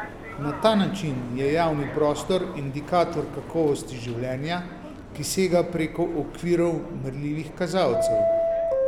Na ta način je javni prostor indikator kakovosti življenja, ki sega preko okvirov merljivih kazalcev.